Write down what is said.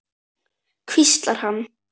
hvíslar hann.